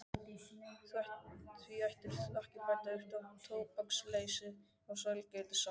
Því ættirðu ekki að bæta þér upp tóbaksleysið með sælgætisáti.